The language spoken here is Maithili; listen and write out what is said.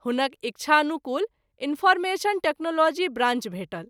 हुनक इच्छानुकूल इनफॉरमेशन टेक्नोलॉजी ब्राँन्च भेटल।